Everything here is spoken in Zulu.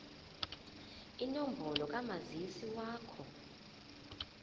inombolo kamazisi wakho